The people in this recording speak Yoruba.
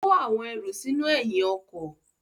Ó kó àwọn ẹrù sínú ẹ̀yìn ọkọ̀.